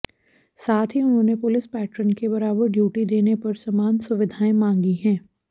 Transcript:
साथ ही उन्होंने पुलिस पैट्रन के बराबर ड्यूटी देने पर समान सुविधाएं मांगी हैं